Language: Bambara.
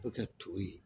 Bɛ ka to yen